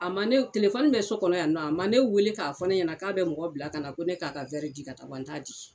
A ma ne bɛ so kɔnɔ yan nɔ a ma ne weele k'a fɔ ne ɲɛna k'a bɛ mɔgɔ bila ka na ko ne k'a ka di ka taa wa n t'a di.